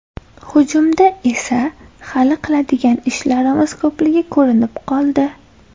Hujumda esa hali qiladigan ishlarimiz ko‘pligi ko‘rinib qoldi.